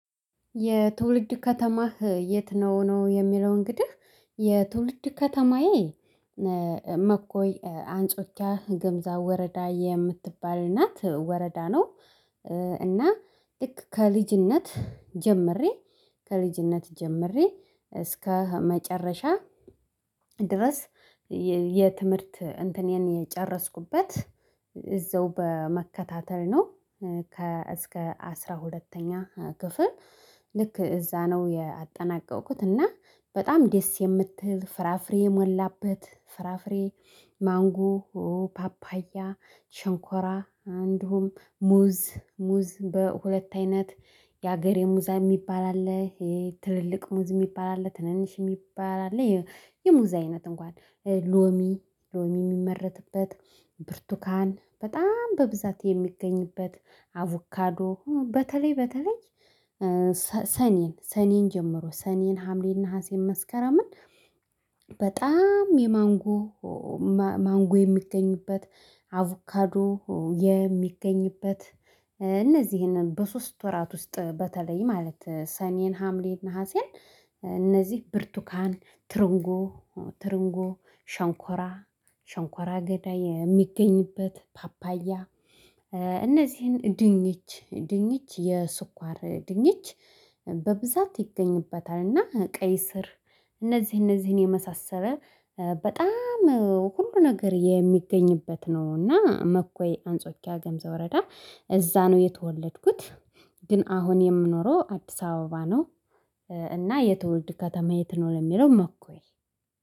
የትውልድ ከተማህ የት ነው ነው የሚለው እንግዲህ የትውልድ ከተማዬ መኮይ አንጾቻ ግምዛ ወረዳ የምትባል እናት ወረዳ ነው። እና ልክ ከልጅነት ጀምሬ ከልጅነት ጀምሬ እስከ መጨረሻ ድረስ የትምህርት እንትኔን የጨረስኩበት እዛው በመከታተል ነው ከ እስከ አስራ ሁለተኛ ክፍል። ልክ እዛ ነው ያጠናቀቅኩት እና በጣም ደስ የምትል ፍራፍሬ የሞላበት ፍራፍሬ ማንጎ ፓፓያ ሽንኮራ አንዱም ሙዝ ሙዝ በሁለት አይነት የሀገሬ ሙዛ የሚባል አለ ይሄ ትልልቅ ሙዝ የሚባል አለ ትንንሽ የሚባል አለ የሙዝ አይነት እንኳን ሎሚ ሎሚ የሚመረትበት ብርቱካን በጣም በብዛት የሚገኝበት አቮካዶ በተለይ በተለይ ሰኔን ሰኔን ጀምሮ ሰኔን ሀምሌና ነሀሴም መስከረምን በጣም የማንጎ ማንጎ የሚገኝበት አቮካዶ የሚገኝበት እነዚህን በሶስት ወራት ውስጥ በተለይ ማለት ሰኔን ሀምሌን ናሀሴን እነዚህ ብርቱካን ትሪንጎ ትሪንጎ ሸንኮራ ሸንኮራ አገዳይ የሚገኝበት ፓፓያ እነዚህን ድንች ድንች የስኳር ድንች በብዛት ይገኝበታል እና ቀይ ስር እነዚህ እነዚህን የመሳሰለ በጣም ሁሉ ነገር የሚገኝበት ነው እና መኮይ አንጾኪያ ገምዛ ውረዳ እዛ ነው የተወለድኩት። ግን አሁን የምኖረው አዲስ አበባ ነው። እና የተወለድ ከተማ የት ነው ለሚለው መኮይ።